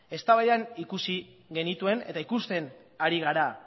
eztabaidan ikusi genituen eta ikusten ari gara